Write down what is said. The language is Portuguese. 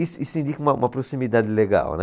Isso, isso indica uma proximidade legal, né.